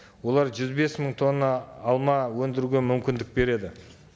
олар жүз бес мың тонна алма өндіруге мүмкіндік береді